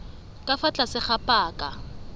ka fa tlase ga paka